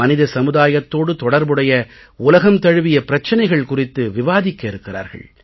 மனித சமுதாயத்தோடு தொடர்புடைய உலகம் தழுவிய பிரச்சனைகள் குறித்து விவாதிக்க இருக்கிறார்கள்